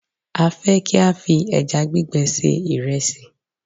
a fe ki a fi eja gbigbe se iresi